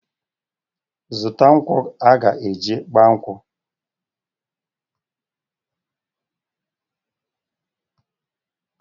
Zụta nkwụ aga-eji gba nkwụ!